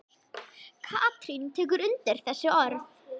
Katrín tekur undir þessi orð.